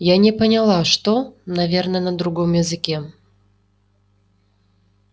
я не поняла что наверное на другом языке